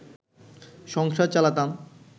সংসার চালাতাম